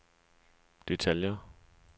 detaljer